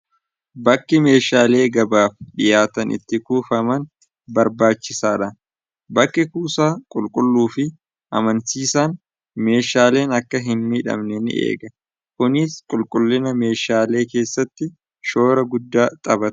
bakki meeshaalee gabaaf dhiyaatan itti kuufaman barbaachisaadha bakki kuusaa qulqulluu fi amansiisaan meeshaaleen akka hin nidhabne ni eega kuniis qulqullina meeshaalee keessatti shoora guddaa xabaa